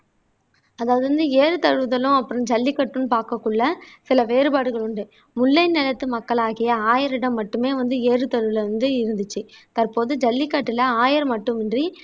அதாவது வந்து ஏறு தழுவுதலும் அப்புறம் ஜல்லிக்கட்டுன்னு பார்க்கக்குள்ள சில வேறுபாடுகள் உண்டு முல்லை நிலத்து மக்களாகிய ஆயரிடம் மட்டுமே வந்து ஏறுதழுவல் வந்து இருந்துச்சு தற்போது ஜல்லிக்கட்டுல ஆயர் மட்டுமின்றி